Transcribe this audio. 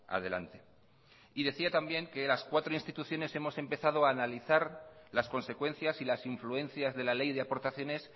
adelante y decía también que las cuatro instituciones hemos empezado a analizar las consecuencias y las influencias de la ley de aportaciones